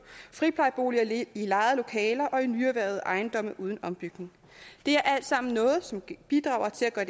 friplejeboliger i lejede lokaler og i nyerhvervede ejendomme uden ombygning det er alt sammen noget som bidrager til at